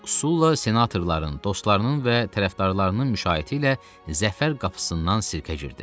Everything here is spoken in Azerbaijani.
Sulla senatorların, dostlarının və tərəfdarlarının müşayiəti ilə zəfər qapısından sirkə girdi.